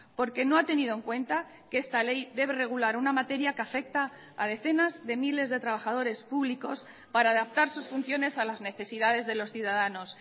porque no ha tenido en cuenta que esta ley debe regular una materia que afecta a decenas de miles de trabajadores públicos para adaptar sus funciones a las necesidades de los ciudadanos